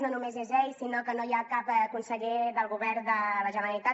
no només no hi és ell sinó que no hi ha cap conseller del govern de la generalitat